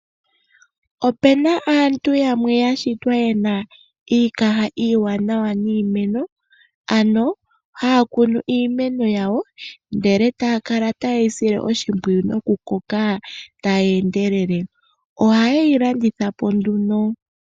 Ope na aantu yamwe ya shitwa yena iikaha iiwanawa niimeno, ano haya kunu iimeno yawo ndele taya kala taye yi sile oshimpwiyu nokukoka tayi endelele. Oha ye yi landitha po nduno.